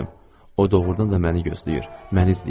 O doğurdan da məni gözləyir, məni izləyirdi.